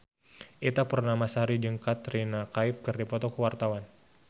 Ita Purnamasari jeung Katrina Kaif keur dipoto ku wartawan